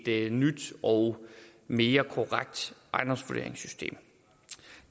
et nyt og mere korrekt ejendomsvurderingssystem